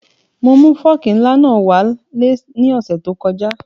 Mo mu fọ́ọ̀kì ńlá náà wá lé ní ọ̀sẹ̀ tí ó kọjá